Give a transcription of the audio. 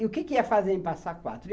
E o que que ia fazer em passa quatro?